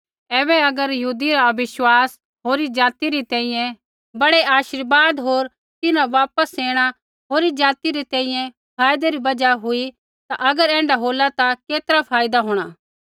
ऐबै अगर यहूदी रा अविश्वासी होरी ज़ाति री तैंईंयैं बड़ै आशीर्वाद होर तिन्हरा वापस ऐणा होरी ज़ाति रै तैंईंयैं फायदै री बजहा हुई ता अगर ऐण्ढा होला ता केतरा फायदा होंणा